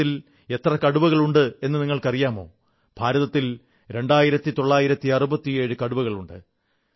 ഭാരതത്തിൽ എത്ര കടുവകളുണ്ടെന്നു നിങ്ങൾക്കറിയാമോ ഭാരതത്തിൽ 2967 കടുവകളുണ്ട്